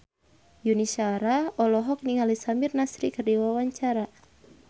Yuni Shara olohok ningali Samir Nasri keur diwawancara